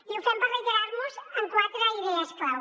i ho fem per reiterar nos en quatre idees clau